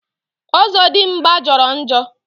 Ọzọdimgbà jọrọ njọ